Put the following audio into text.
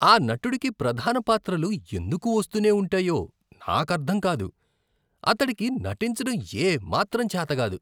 ఆ నటుడికి ప్రధాన పాత్రలు ఎందుకు వస్తూనే ఉంటాయో నాకర్థం కాదు. అతడికి నటించడం ఏమాత్రం చేత కాదు.